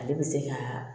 Ale bɛ se ka